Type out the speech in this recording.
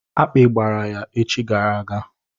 Akpi gbara ya echi gara aga.